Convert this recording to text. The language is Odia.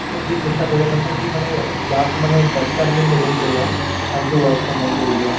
ବି ଚେଷ୍ଟା କରିବା କଥା କି ମାନେ ଯାହାକୁ ମାନେ ଦରକାର ନାହିଁ present ରହିବା ତାଙ୍କୁ work from home ଦେଇଦିଅ